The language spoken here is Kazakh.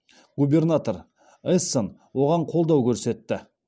губернатор эссен оған қолдау көрсетті